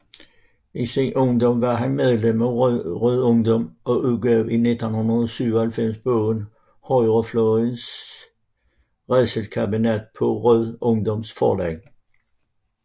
I sin ungdom var han medlem af Rød Ungdom og udgav i 1997 bogen Højrefløjens rædselskabinet på Rød Ungdoms Forlag